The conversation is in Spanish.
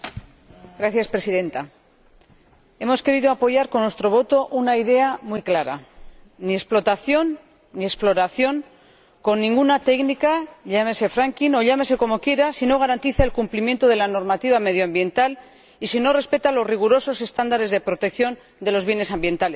Señora Presidenta, hemos querido apoyar con nuestro voto una idea muy clara ni explotación, ni exploración, con ninguna técnica, llámese o llámese como quiera, si no garantiza el cumplimiento de la normativa medioambiental, y si no respeta los rigurosos estándares de protección de los bienes ambientales.